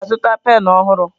Ị ga-azụta penụ ọhụrụ?